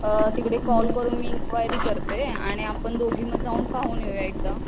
तिकडे कॉल करून मी इन्क्वायरी करते, आणि आपण दोघे तिथे जाऊन पाहून येऊया एकदा